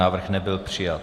Návrh nebyl přijat.